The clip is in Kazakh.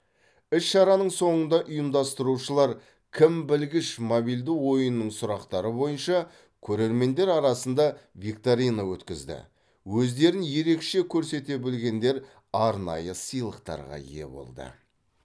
іс шараның соңында ұйымдастырушылар кім білгіш мобильді ойынының сұрақтары бойынша көрермендер арасында викторина өткізді өздерін ерекше көрсете білгендер арнайы сыйлықтарға ие болды